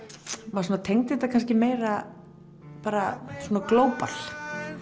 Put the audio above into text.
maður tengdi þetta meira bara Global